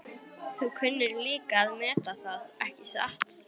Kemur þá maður gangandi í fölgulum náttslopp og ilskóm.